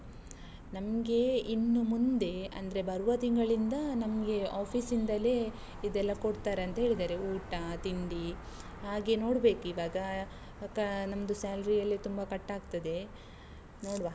ನಮ್ಗೆ ಇನ್ನು ಮುಂದೆ, ಅಂದ್ರೆ ಬರುವ ತಿಂಗಳಿಂದ ನಮ್ಗೆ office ಇಂದಲೇ ಇದೆಲ್ಲ ಕೊಡ್ತಾರೆ ಆಂತ ಹೇಳಿದಾರೆ, ಊಟ, ತಿಂಡಿ ಹಾಗೆ ನೋಡ್ಬೇಕು ಈವಾಗ ಅಹ್ ನಮ್ದು salary ಅಲ್ಲೇ ತುಂಬ cut ಆಗ್ತದೆ, ನೋಡ್ವಾ.